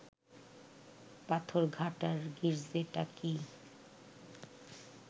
পাথরঘাটার গির্জেটা কি